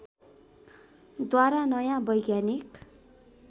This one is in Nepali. द्वारा नयाँ वैज्ञानिक